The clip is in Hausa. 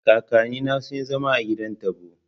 Kakanni na sun yi zama a gidan taɓo